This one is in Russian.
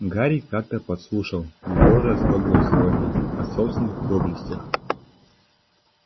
гарри как-то подслушал его разглагольствования о собственных доблестях